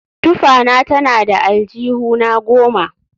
Tufana tana da aljihuna goma